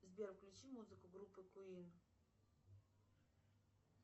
сбер включи музыку группы куин